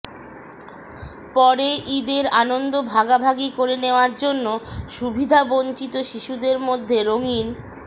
পরে ঈদের আনন্দ ভাগাভাগি করে নেওয়ার জন্য সুবিধাবঞ্চিত শিশুদের মধ্যে রঙিন